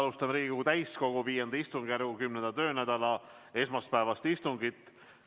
Alustame Riigikogu täiskogu V istungjärgu 10. töönädala esmaspäevast istungit.